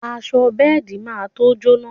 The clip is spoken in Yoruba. Aṣọ bẹ́ẹ̀di má to jóná